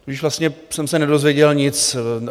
Tudíž vlastně jsem se nedozvěděl nic.